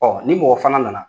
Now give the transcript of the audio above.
Bɔn ni mɔgɔ fana nana